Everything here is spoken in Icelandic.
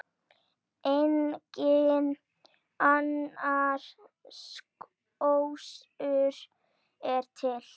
Enginn annar kostur er til.